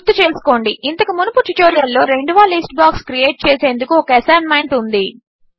గుర్తుచేసుకోండి ఇంతకు మునుపు ట్యుటోరియల్లో రెండవ లిస్ట్ బాక్స్ క్రియేట్ చేసేందుకు ఒక అసైన్మెంట్ ఉంది